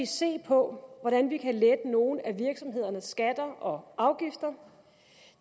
se på hvordan vi kan lette nogle af virksomhedernes skatter og afgifter